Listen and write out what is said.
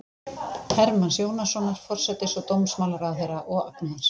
Hermanns Jónassonar, forsætis- og dómsmálaráðherra, og Agnars